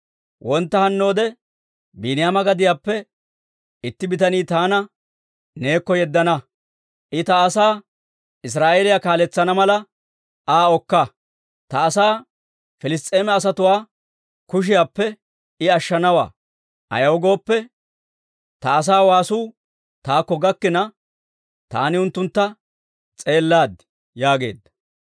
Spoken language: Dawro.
«Wontta hannoode Biiniyaama gadiyaappe itti bitaniyaa taani neekko yeddana; I ta asaa Israa'eeliyaa kaaletsana mala Aa okka; ta asaa Piliss's'eema asatuwaa kushiyaappe I ashshanawaa; ayaw gooppe, ta asaa waasuu taakko gakkina, taani unttuntta s'eellaad» yaageedda.